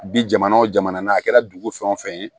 Bi jamana o jamana a kɛra dugu fɛn o fɛn ye